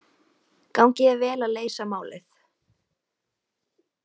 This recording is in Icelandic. Gangi þér vel að leysa málið.